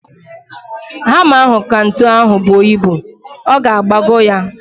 Hama ahu ka ntu ahu buo ibu. Ọ ga-agbagọ ya